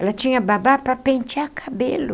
Ela tinha babá para pentear cabelo.